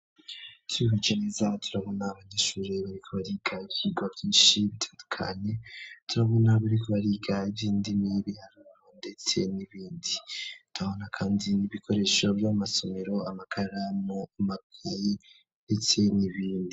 Twihweje neza turabona abanyeshuri bariko bariga ivyirwa vyishi bitandukanye turabona abariko bariga ivyindimi ibiharuro ndetse n'ibindi turabona kandi n'ibikoresho vy'amasomero amakaramu makeyi ndetse n'ibindi.